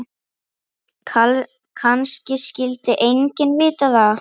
Kannski vildi enginn vita það.